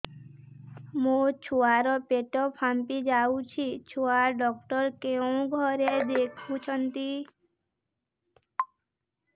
ମୋ ଛୁଆ ର ପେଟ ଫାମ୍ପି ଯାଉଛି ଛୁଆ ଡକ୍ଟର କେଉଁ ଘରେ ଦେଖୁ ଛନ୍ତି